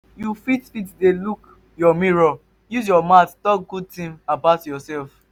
you fit fit dey look your mirror use your mouth talk good things about yourself